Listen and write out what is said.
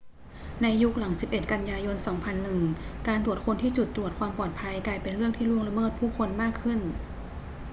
ในยุคหลัง 11 กันยายน 2001 การตรวจค้นที่จุดตรวจความปลอดภัยกลายเป็นเรื่องที่ล่วงละเมิดผู้คนมากขึ้น